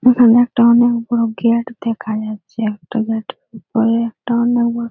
এখানে একটা অনেক বড় গেট দেখা যাচ্ছে একটা গেট -এর উপরে --]